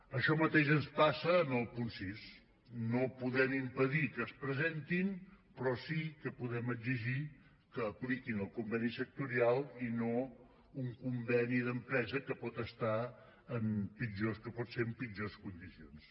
això mateix ens passa en el punt sis no podem impedir que es presentin però sí que podem exigir que apliquin el conveni sectorial i no un conveni d’empresa que pot ser en pitjors condicions